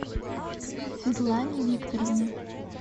светлане викторовне